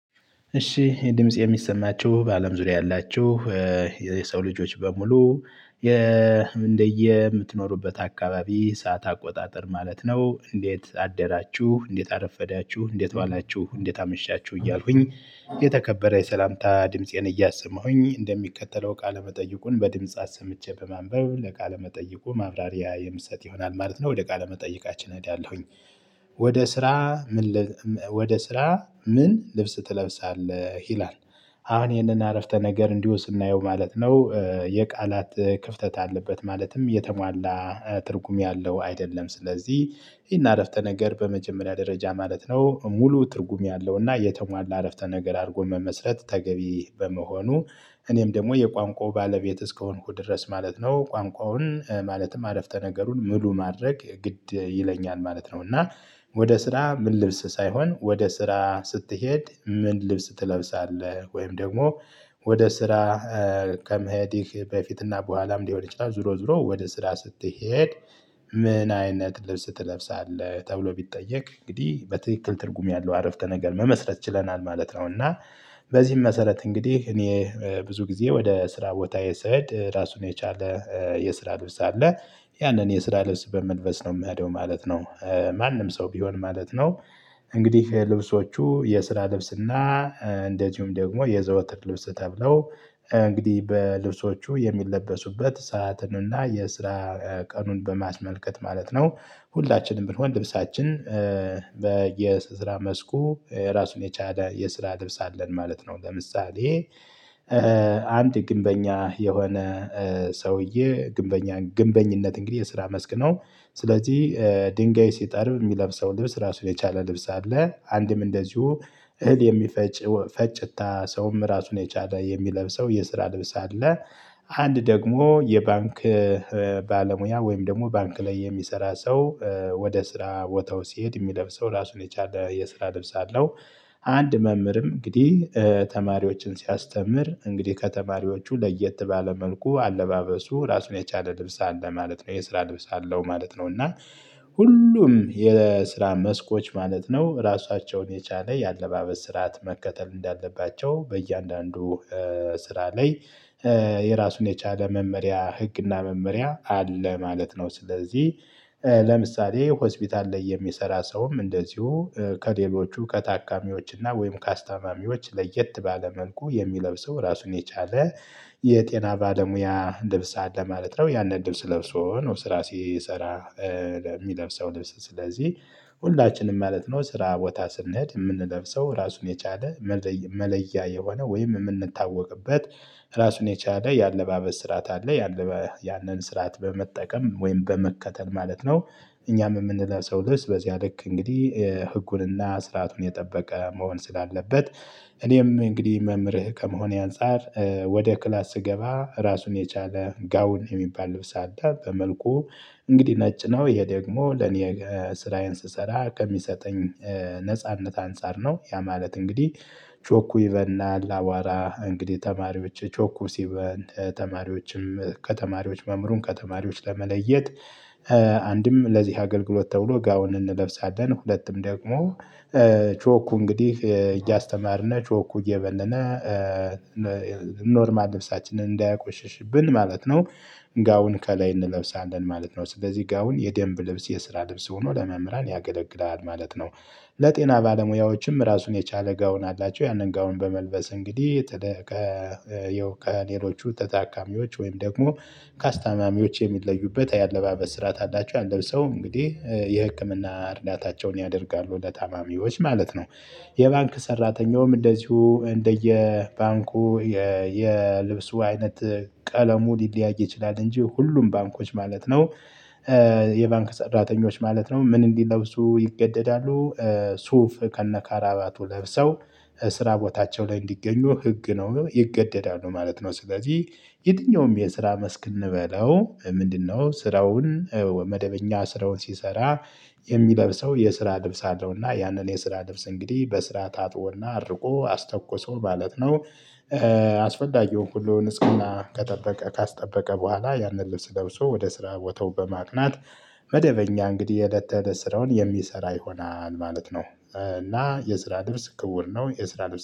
እሺ ይህ ድምጽ የሚሰማችሁ በአለም ዙሪያ ያላችሁ የሰው ልጆች በሙሉ እንደየምትኖሩበት አካባቢ ሰዓት አቆጣጠር ማለት ነው። እንዴት አደራችሁ እንዴት አረፈዳችሁ እንዴት ዋላችሁ እንዴት አመሻችሁ እያልሁኝ የተከበረ የሰላምታ ድምፄን እያሰማሁኝ እንደሚከተለው ቃለመጠይቁን በድምፄ አሰምቼ በማንበብ ለቃለመጠይቁ ማብራሪያ የምሰጥ ይሆናል ማለት ነው። ወደ ቃለመጠይቃችን እሄዳለሁኝ ወደ ስራ ምን ወደ ስራ ምን ልብስ ትለብሳለህ ይላል? አሁን ይህንን አረፍተ ነገር እንዲሁ ስናየው ማለት ነው። የቃላት ክፍተት አለበት ማለትም የተሟላ ትርጉም ያለው አይደለም። ስለዚህ ይሄን አረፍተ ነገር በመጀመሪያ ደረጃ ማለት ነው። ሙሉ ትርጉም ያለው እና የተሟላ አረፍተ ነገር አድርጎ መመስረት ተገቢ በመሆኑ። እኔም ደግሞ የቋንቋው ባለቤት እስከሆንኩ ድረስ ማለት ነው ቋንቋውን ማለትም አለፍተ ነገሩን ሙሉ ማድረግ ግድ ይለኛል ማለት ነው። እና ወደ ስራ ምን ልብስ ሳይሆን ወደ ስራ ስትሄድ ምን ልብስ ትለብሳለህ? ወይም ደግሞ ወደ ስራ ከመሄድህ በፊትና በኋላም ሊሆን ይችላል። ዞሮ ዞሮ ወደ ስራ ስትሄድ ምን አይነት ልብስ ትለብሳለህ ተብሎ ቢጠየቅ እንግዲህ በትክክል ትርጉም ያለው አረፍተ ነገር መመስረት ችለናል ማለት ነው። እና በዚህም መሰረት እንግዲህ እኔ ብዙ ጊዜ ወደ ስራ ቦታየ ስሄድ ራሱን የቻለ የስራ ልብስ አለ። ያንን የስራ ልብስ በመልበስ ነው የሚሄደው ማለት ነው። ማንም ሰው ቢሆን ማለት ነው። እንግዲህ ልብሶቹ የስራ ልብስና እንደዚሁም ደግሞ የዘወትር ልብስ ተብለው እንግዲህ በልብሶቹ የሚለበሱበት ሰዓትንና የስራ ቀኑን በማስመልከት ማለት ነው። ሁላችንም ብንሆን ልብሳችን በየስራ መስኩ ራሱን የቻለ የስራ ልብስ አለን ማለት ነው። ለምሳሌ አንድ ግንበኛ የሆነ ሰውዬ ግንበኛ ግንበኝነት እንግዲህ የስራ መስክ ነው። ስለዚህ ድንጋይ ሲጠርብ የሚለብሰው ልብስ ራሱን የቻለ ልብስ አለ አንድም እንደዚሁ እህል የሚፈጭ ፈጭታ ሰውም ራሱን የቻለ የሚለብሰው የስራ ልብስ አለ። አንድ ደግሞ የባንክ ባለሙያ ወይም ደግሞ ባንክ ላይ የሚሰራ ሰው ወደ ስራ ቦታው ሲሄድ የሚለብሰው ራሱን የቻለ የስራ ልብስ አለው። አንድ መምህርም እንግዲህ ተማሪዎችን ሲያስተምር እንግዲህ ከተማሪዎቹ ለየት ባለ መልኩ አለባበሱ ራሱን የቻለ ልብስ አለ ማለት ነው የስራ ልብስ አለው ማለት ነው። እና ሁሉም የስራ መስኮች ማለት ነው ራሳቸውን የቻለ የአለባበስ ስርዓት መከተል እንዳለባቸው በእያንዳንዱ ስራ ላይ የራሱን የቻለ መመሪያ ህግና መመሪያ አለ ማለት ነው። ስለዚህ ለምሳሌ ሆስፒታል ላይ የሚሰራ ሰውም እንደዚሁ ከሌሎቹ ከታካሚዎች እና ወይም ከአስታማሚዎች ለየት ባለ መንኩ የሚለብሰው ራሱን የቻለ የጤና ባለሙያ ልብስ አለ ማለት ነው። ያንን ልስብ ለብሶ ነው ስራ ሲሰራ። የሚለብሰው ልብስ ስለዚህ ሁላችንም ማለት ነው ስራ ቦታ ስንሄድ የምንለብሰው ራሱን የቻለ መለያ የሆነ ወይም የምንታወቅበት ራሱን የቻለ የአለባበስ ስርዓት አለ ያንን ስርዓት በመጠቀም ወይም በመከተል ማለት ነው። እኛም የምንለው ሰው ልብስ በዚያ ልክ እንግዲህ ህጉንና ስርዓቱን የጠበቀ መሆን ስላለበት። እኔም እንግዲህ መምህር ከመሆኔ አንፃር ወደ ክላስ ስገባ ራሱን የቻለ ጋውን የሚባል ልብስ አለ በመልኩ እንግዲህ ነጭ ነው። ይሄ ደግሞ ለኔ ስራዬን ስሰራ ከሚሰጠኝ ነጻነት አንፃር ነው። ያ ማለት እንግዲህ ቾኩ ይበናል አዋራ እንግዲህ ተማሪዎች ቾኩ ሲበን ተማሪዎችም ከተማሪዎች መምሩን ከተማሪዎች ለመለየት አንድም ለዚህ አገልግሎት ተብሎ ጋውን እንለብሳለን ሁለቱም ደግሞ ቾኩ እንግዲህ እያስተማርነት ቾኩ እየበነነ ኖርማል ነፍሳችንን እንዳያቆሽሽብን ማለት ነው። ጋውን ከላይ እንለብሳለን ማለት ነው። ስለዚህ ጋውን የደንብ ልብስ የስራ ልብስ ሆኖ ለመምህራን ያገለግላል ማለት ነው። ለጤና ባለሙያዎችም ራሱን የቻለ ጋውን አላቸው ያንን ጋውን በመልበስ እንግዲህ የተደከ ከሌሎቹ ተታካሚዎች ወይም ደግሞ ካስታማሚዎች የሚለዩበት የአለባበስ ስርዓት አላቸው ያን ለብሰው እንግዲህ የህክምና እርዳታቸውን ያደርጋሉ ለታማሚዎች ማለት ነው። የባንክ ሰራተኛውም እንደዚሁ እንደየ ባንኩ የልብሱ አይነት ቀለሙ ሊለያይ ይችላል። እንጂ ሁሉም ባንኮች ማለት ነው የባንክ ሰራተኞች ማለት ነው ምን እንዲለብሱ ይገደዳሉ። ሱፍ ከነካራባቱ ለብሰው ስራ ቦታቸው ላይ እንዲገኙ ህግ ነው ይገደዳሉ ማለት ነው። ስለዚህ የትኛውም የስራ መስክ እንበለው ምንድነው? ስራውን መደበኛ ስራውን ሲሰራ የሚለብሰው የስራ ልብስ አለውና ያንን የስራ ልብስ እንግዲህ በስርዓት ታጥቦና አርቆ አስተኩሶ ማለት ነው። አስፈላጊውን ሁሉን ንጽህና ከጠበቀ ካስጠበቀ በኋላ ያንን ልብስ ለብሶ ወደ ስራ ቦታው በማቅናት። መደበኛ እንግዲህ የእለት ተእለት ስራውን የሚሰራ ይሆናል ማለት ነው። እና የስራ ልብስ ክቡር ነው። የስራ ልብስ